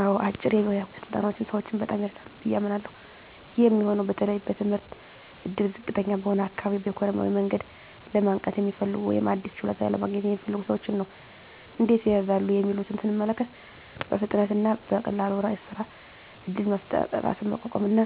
አዎ፣ አጫጭር የሞያ ስልጠናዎች ሰዎችን በጣም ይረዳሉ ብዬ አምናለሀ። ይህ የሚሆነው በተለይ በትምህርት እድል ዝቅተኛ በሆነ አካባቢ፣ በኢኮኖሚያዊ መንገድ ለማንቃት የሚፈልጉ፣ ወይም አዲስ ችሎታ ለማግኘት የሚፈልጉ ሰዎችን ነው። እንዴት ይረዳሉ የሚሉትን ስንመለከት፦ 1. በፍጥነት እና በቀላሉ የሥራ እድል መፍጠር 2. ራስን ማቋቋም እና